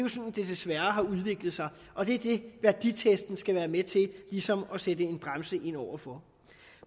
desværre har udviklet sig og det er det værditesten skal være med til ligesom at sætte en bremse ind over for